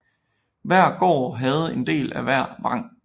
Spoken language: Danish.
Hver gård havde en del af hver vang